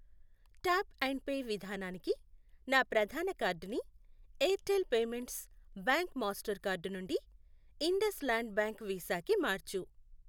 Tap and pay విధానానికి నా ప్రధాన కార్డుని Airtel payments bank master card నుండి ఇండస్ ల్యాండ్ బ్యాంక్ వీసా కి మార్చు.